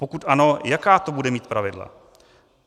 Pokud ano, jaká to bude mít pravidla?